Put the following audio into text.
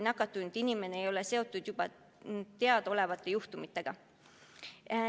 Nakatunud inimesed ei ole seotud juba teadaolevate juhtumitega.